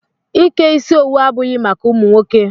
Ike isi owu abụghị maka ụmụ nwoke.